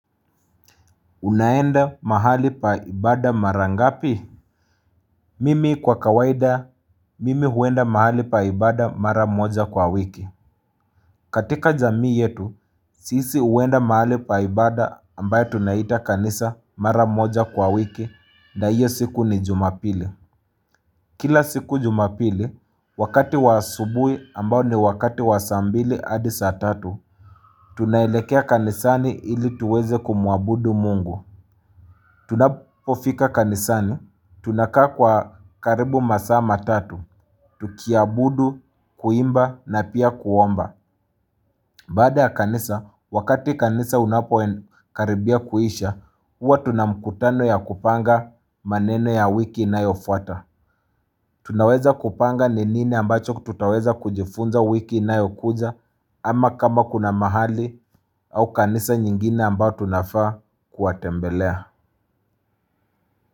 Unaenda mahali pa ibada mara ngapi? Mimi kwa kawaida, mimi huenda mahali pa ibada mara moja kwa wiki. Katika jamii yetu, sisi huenda mahali pa ibada ambaye tunaita kanisa mara moja kwa wiki na iyo siku ni jumapili. Kila siku jumapili, wakati wa asubui ambao ni wakati wa saa mbili hadi saa tatu, tunaelekea kanisani ili tuweze kumuabudu mungu. Tunapofika kanisani, tunakaa kwa karibu masaa matatu, tukiabudu, kuimba na pia kuomba Baada ya kanisa, wakati kanisa unapo karibia kuisha, uwa tuna mkutano ya kupanga maneno ya wiki inayofuata Tunaweza kupanga ni nini ambacho tutaweza kujifunza wiki inayokuja ama kama kuna mahali au kanisa nyingine ambao tunafaa kuwatembelea.